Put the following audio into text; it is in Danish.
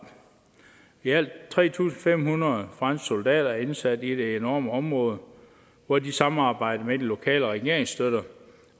i alt tre tusind fem hundrede franske soldater er indsat i det enorme område hvor de samarbejder med de lokale regeringsstøtter